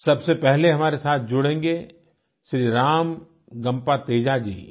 सबसे पहले हमारे साथ जुड़ेंगे श्री रामगम्पा तेजा जी